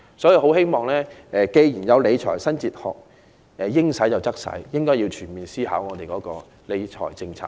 既然有"應使則使"的理財新哲學，我很希望政府會全面思考其理財政策。